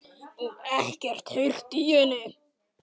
Og ekkert heyrt í henni?